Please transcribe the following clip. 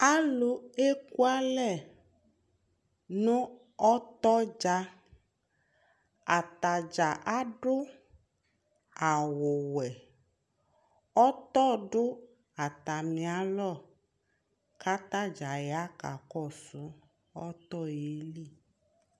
alò eku alɛ no ɔtɔ dza atadza adu awu wɛ ɔtɔ do atami alɔ k'atadza ya ka kɔsu ɔtɔ yɛ li